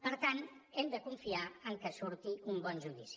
per tant hem de confiar que surti un bon judici